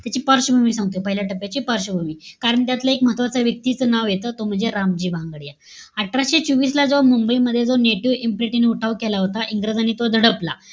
त्याची पार्श्ववभूमी सांगतो. पहिल्या टप्प्याची पार्श्ववभूमी. कारण त्यातला एक महत्वाचा एक व्यक्तीच नाव येत. तो म्हणजे रामजी भांगडिया. अठराशे चोवीस ला, जेव्हा मुंबईमध्ये जो नेटिव्ह इम्प्लिटी ने उठाव केला होता, इंग्रजांनी तो दडपला.